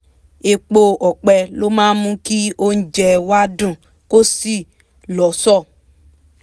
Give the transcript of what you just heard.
epo ọ̀pẹ ló máa mú kí oúnjẹ wa dùn kó sì lọ́ṣọ̀ọ́